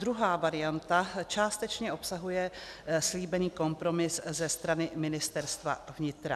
Druhá varianta částečně obsahuje slíbený kompromis ze strany Ministerstva vnitra.